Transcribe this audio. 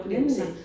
Nemlig